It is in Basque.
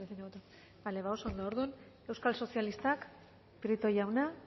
ere bai orduan euskal sozialistak prieto jauna